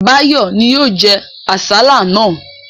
Báyọ̀ ni ó jẹ àsálà náà.